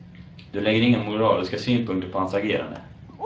Du lägger inga moraliska synpunkter på hans agerande.